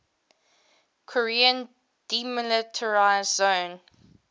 korean demilitarized zone